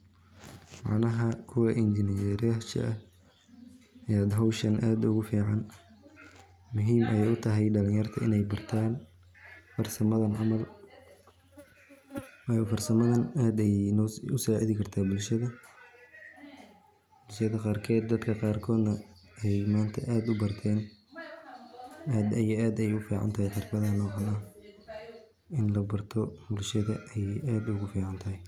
Caanaha kuwa injineryasha ah ya howshan aad ogu fican muhiim aya utahay dhalin yarta inay bartaan farsamadan camal, wayo farsamadan aad ayay usaacidi karta bulshada, sida qarked, dadka qarkod na ay manta aad u barten, aad ayay u ficantahay xirfadahan oo kale, ini la barto bulshada ayay aad ogu fican tahay